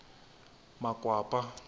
makwapa